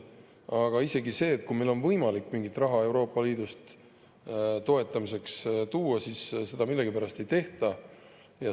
Aga isegi kui meil on võimalik mingit raha Euroopa Liidust toetamiseks saada, siis seda millegipärast ei küsita.